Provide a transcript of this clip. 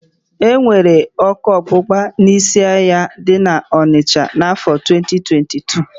E nwere ọ́kụ́ ọgbụgba n'ísí ahịa dị n'ọnịsha n'áfọ̀ 2022.